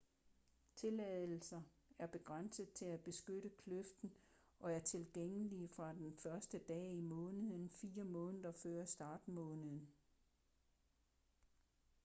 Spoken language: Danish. tilladelser er begrænsede til at beskytte kløften og er tilgængelige fra den første dag i måneden fire måneder før startmåneden